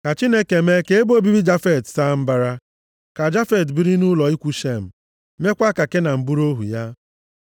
Ka Chineke mee ka ebe obibi Jafet saa mbara, ka Jafet biri nʼụlọ ikwu Shem, meekwa ka Kenan bụrụ ohu ya.”